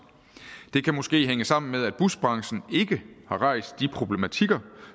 det kan måske hænge sammen med at busbranchen ikke har rejst de problematikker